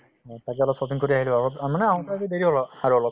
হয় তাতে অলপ shopping কৰি আহিলো আগত মানে আহোতে আহোতে দেৰি হʼল আৰু অলপ